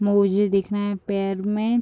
मोजे दिख रहे हैं पैर में।